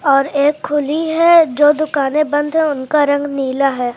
और एक खुली है जो दुकाने बंद है उनका रंग नीला है।